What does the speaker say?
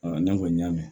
ne kɔni y'a mɛn